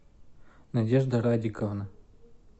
надежда радиковна